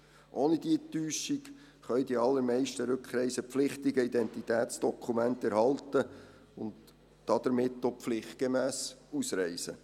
Ohne diese Täuschung können die allermeisten Rückreisepflichtigen Identitätsdokumente erhalten und damit auch pflichtgemäss ausreisen.